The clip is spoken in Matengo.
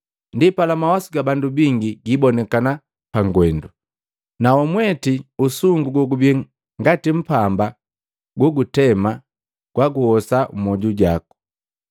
Ndipala mawasu ga bandu bingi gibonikana pangwendu. Nawamweti usungu gogubi ngati mpamba gogutema gwaguhosa mmwoju waku.”